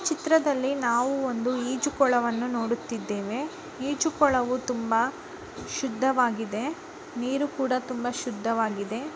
ಚಿತ್ರದಲ್ಲಿ ನಾವು ಒಂದು ಈಜುಕೊಳವನ್ನು ನೋಡುತ್ತಿದ್ದೇವೆ ಈಜುಕೊಳವು ತುಂಬಾ ಶುದ್ಧವಾಗಿದೆ ನೀರು ಕೂಡ ತುಂಬಾ ಶುದ್ಧವಾಗಿದೆ.